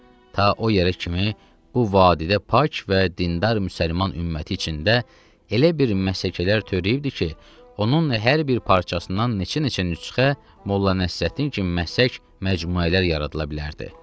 Ta o yerə kimi bu vadidə pak və dindar müsəlman ümməti içində elə bir məsələlər törəyibdir ki, onun hər bir parçasından neçə-neçə nüsxə Molla Nəsrəddin kimi məsələlər, məcmuələr yaradıla bilərdi.